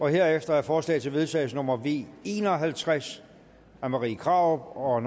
herefter er forslag til vedtagelse nummer v en og halvtreds af marie krarup og